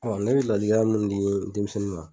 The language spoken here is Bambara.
ne bi ladilikan min di denmisɛnnin ma